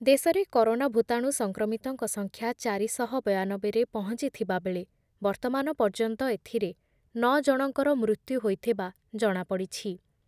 ଦେଶରେ କରୋନା ଭୂତାଣୁ ସଂକ୍ରମିତଙ୍କ ସଂଖ୍ୟା ଚାରି ଶହ ବୟାନବେରେ ପହଞ୍ଚୁଥିବାବେଳେ ବର୍ତ୍ତମାନ ପର୍ଯ୍ୟନ୍ତ ଏଥିରେ ନଅ ଜଣଙ୍କର ମୃତ୍ୟୁ ହୋଇଥିବା ଜଣାପଡିଛି ।